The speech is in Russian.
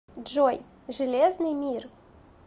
джой железный мир